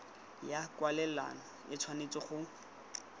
ya kwalelano e tshwanetse go